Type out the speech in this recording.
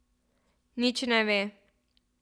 Nič ne ve.